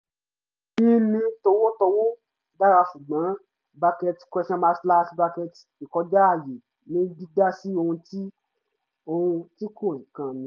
yin ni t̀owótowó dára ṣùgbọ́n bracket question mark slash bracket ìkọjá àyè ni dídá sí ohun tí ohun tí kò kan mí